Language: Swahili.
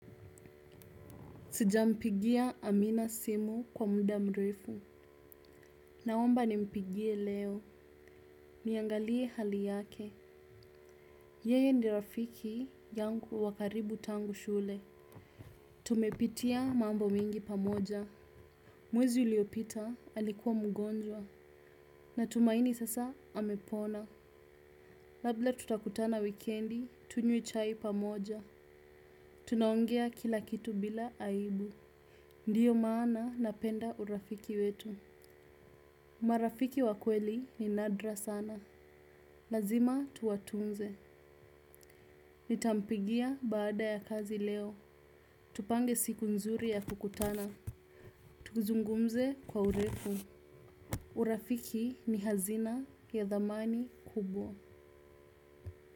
Sijampigia Amina Simu kwa muda mrefu. Naomba nimpigie leo. Niangalie hali yake. Yeye ndio rafiki yangu wa karibu tangu shule. Tumepitia mambo mingi pamoja. Mwezi uliopita alikuwa mgonjwa. Natumaini sasa amepona. Labda tutakutana wikendi tunywe chai pamoja. Tunaongea kila kitu bila aibu. Ndiyo maana napenda urafiki wetu. Marafiki wa kweli ni nadra sana. Lazima tuwatunze. Nitampigia baada ya kazi leo. Tupange siku nzuri ya kukutana. Tuzungumze kwa urefu. Urafiki ni hazina ya dhamani kubwa.